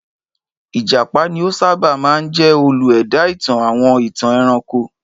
Ìjàpá ni ó sábà máa ń jẹ́ olú-ẹ̀dá ìtàn àwọn ìtàn ẹranko.